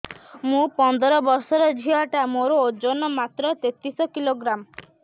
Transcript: ମୁ ପନ୍ଦର ବର୍ଷ ର ଝିଅ ଟା ମୋର ଓଜନ ମାତ୍ର ତେତିଶ କିଲୋଗ୍ରାମ